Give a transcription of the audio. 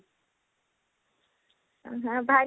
ଆଁ ଭାଇନା